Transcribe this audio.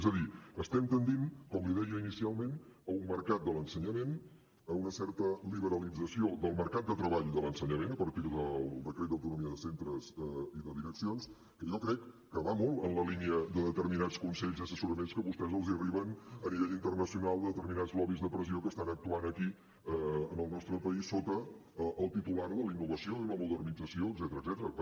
és a dir estem tendint com li deia inicialment a un mercat de l’ensenyament a una certa liberalització del mercat de treball de l’ensenyament a partir del decret d’autonomia de centres i de direccions que jo crec que va molt en la línia de determinats consells i assessoraments que a vostès els arriben a nivell internacional de determinats lobbys de pressió que estan actuant aquí en el nostre país sota el titular de la innovació i la modernització etcètera